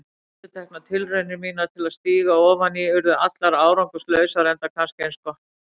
Endurteknar tilraunir mínar til að stíga ofan í urðu allar árangurslausar, enda kannski eins gott.